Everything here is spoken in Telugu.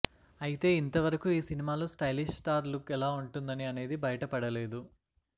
అయితే ఇంతవరకు ఈ సినిమాలో స్టైలిష్ స్టార్ లుక్ ఎలా ఉంటుందని అనేది బయటపడలేదు